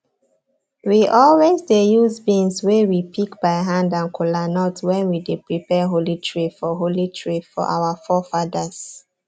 we always dey use beans wey we pick by hand and kolanut when we dey prepare holy tray for holy tray for our forefathers